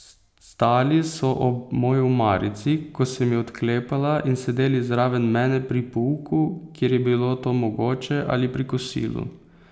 Stali so ob moji omarici, ko sem jo odklepala, in sedeli zraven mene pri pouku, kjer je bilo to mogoče, ali pri kosilu.